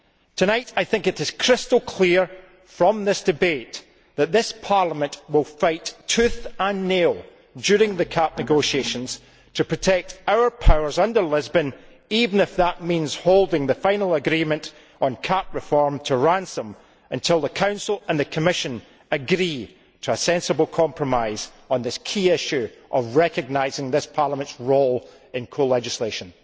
Tonight I think it is crystal clear from this debate that this Parliament will fight tooth and nail during the CAP negotiations to protect our powers under Lisbon, even if that means holding the final agreement on CAP reform to ransom until the Council and the Commission agree to a sensible compromise on this key issue of recognising this Parliament's role in co legislation.